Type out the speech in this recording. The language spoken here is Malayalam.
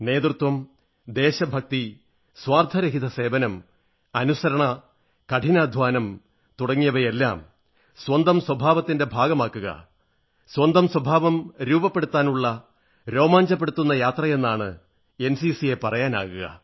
നേതൃത്വം ദേശഭക്തി സ്വാർഥരഹിതസേവനം അനുസരണ കഠിനാധ്വാനം തുടങ്ങിയവയെല്ലാം സ്വന്തം സ്വഭാവത്തിന്റെ ഭാഗമാക്കുക സ്വന്തം സ്വഭാവം രൂപപ്പെടുത്താനുള്ള രോമാഞ്ചപ്പെടുത്തുന്ന യാത്രയെന്നാണ് എൻസിസിയെ പറയാനാവുക